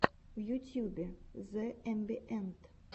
в ютюбе зэ эмбиэнт